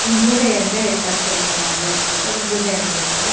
ಒಂದು ಗುಹೆ ಅಂತ ಹೇಳತ್ತರೆ ಸುರಂಗ ಮಾರ್ಗ ಇರತ್ತಿತ್ತು ಅದು ಗುಹೆ ಅಂತ ಹೇಳತ್ತರೆ.